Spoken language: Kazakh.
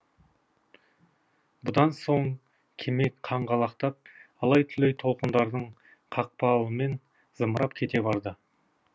бұдан соң кеме қаңғалақтап алай түлей толқындардың қақпақылымен зымырап кете барды